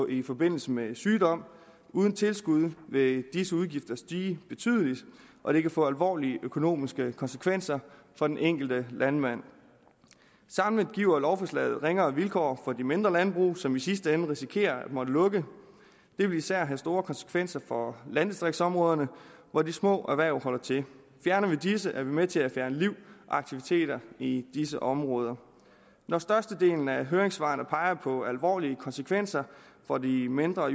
i forbindelse med sygdom og uden tilskud vil disse udgifter stige betydeligt og det kan få alvorlige økonomiske konsekvenser for den enkelte landmand samlet giver lovforslaget ringere vilkår for de mindre landbrug som i sidste ende risikerer at måtte lukke det vil især have store konsekvenser for landdistriktsområderne hvor de små erhverv holder til fjerner vi disse er vi med til at fjerne liv og aktiviteter i disse områder når størstedelen af høringssvarene peger på alvorlige konsekvenser for de mindre